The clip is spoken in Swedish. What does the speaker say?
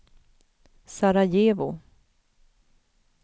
Sarajevo